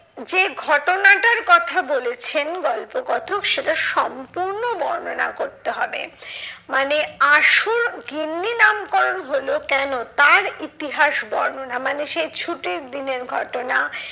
যে ঘটনাটার কথা বলেছেন গল্পকথক সেটা সম্পূর্ণ বর্ণনা করতে হবে। মানে আসল গিন্নি নামকরণ হলো কেন তার ইতিহাস বর্ণনা মানে সেই ছুটির দিনের ঘটনা